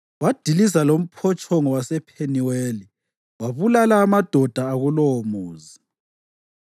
Wadiliza lomphotshongo wasePheniweli wabulala amadoda akulowomuzi.